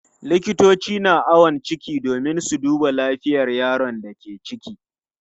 Likitoci na awon ciki domin su duba lafiyar yaron da ke ciki.